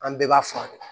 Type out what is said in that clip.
An bɛɛ b'a furakɛ